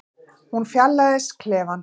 Hún fjarlægist klefann.